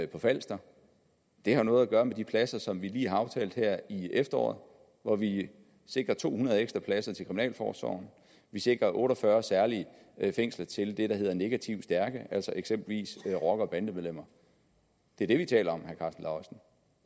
på falster det har noget at gøre med de pladser som vi lige har aftalt her i efteråret hvor vi sikrer to hundrede ekstra pladser til kriminalforsorgen vi sikrer otte og fyrre særlige fængsler til det der hedder negativt stærke altså eksempelvis rocker bande medlemmer det er det vi taler om